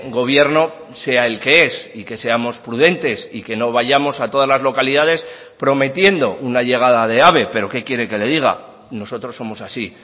gobierno sea el que es y que seamos prudentes y que no vayamos a todas las localidades prometiendo una llegada de ave pero qué quiere que le diga nosotros somos así